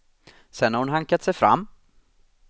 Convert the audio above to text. Sedan har hon hankat sig fram.